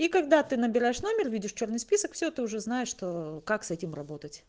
и когда ты набираешь номер видишь чёрный список все ты уже знаешь что как с этим работать